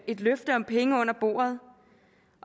et løfte om penge under bordet